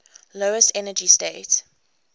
lowest energy state